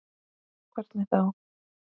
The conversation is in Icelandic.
Hvernig þá?